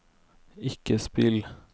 ikke spill